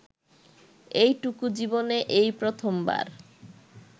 এইটুকু জীবনে এই প্রথমবার